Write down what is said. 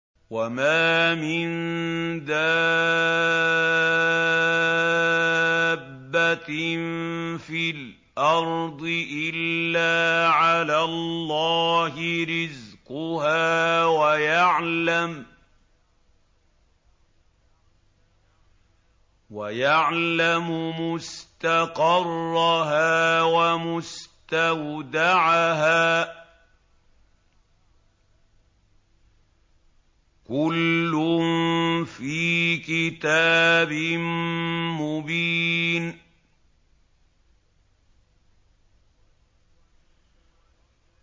۞ وَمَا مِن دَابَّةٍ فِي الْأَرْضِ إِلَّا عَلَى اللَّهِ رِزْقُهَا وَيَعْلَمُ مُسْتَقَرَّهَا وَمُسْتَوْدَعَهَا ۚ كُلٌّ فِي كِتَابٍ مُّبِينٍ